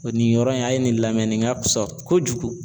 Nin yɔrɔ in a ye nin lamɛn nin ka fusa kojugu